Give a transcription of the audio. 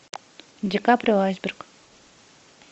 ди каприо айсберг